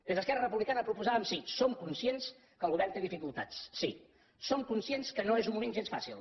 des d’esquerra republicana proposàvem sí som conscients que el govern té dificultats sí som conscients que no és un moment gens fàcil